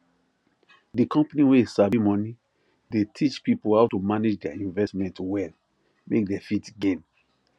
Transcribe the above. the company wey sabi money dey teach people how to manage their investment well make they fit gain